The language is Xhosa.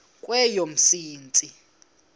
kweyomsintsi